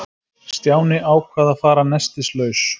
Stjáni ákvað að fara nestislaus.